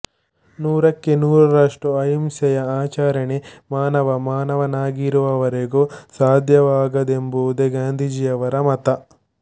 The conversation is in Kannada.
ನೂರಕ್ಕೆ ನೂರರಷ್ಟು ಅಹಿಂಸೆಯ ಆಚರಣೆ ಮಾನವ ಮಾನವನಾಗಿರುವವರೆಗೂ ಸಾಧ್ಯವಾಗದೆಂಬುದೇ ಗಾಂಧೀಜೀಯವರ ಮತ